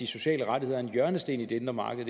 sociale rettigheder er en hjørnesten i det indre marked